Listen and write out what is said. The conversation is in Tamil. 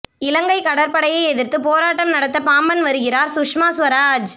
இலங்கைக் கடற்படையை எதிர்த்துப் போராட்டம் நடத்த பாம்பன் வருகிறார் சுஷ்மா சுவராஜ்